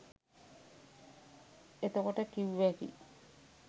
එතකොට කිව්වැකි